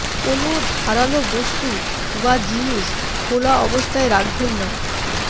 কোনও ধারালো বস্তু বা জিনিস খোলা অবস্থায় রাখবেন না